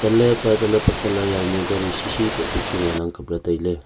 tele pe tele colour yaonu gari shi shi quoh pe chu ngan ang kb le tai ley.